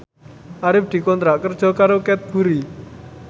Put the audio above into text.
Arif dikontrak kerja karo Cadbury